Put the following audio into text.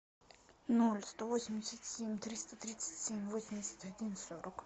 ноль сто восемьдесят семь триста тридцать семь восемьдесят один сорок